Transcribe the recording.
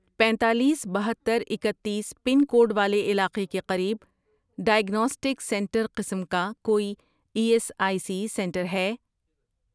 پینتالیس، بہتر، اکتیس، پن کوڈ والے علاقے کے قریب ڈائیگناسٹک سینٹر قسم کا کوئی E S I C centre ہے؟